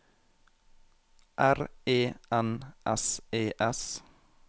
R E N S E S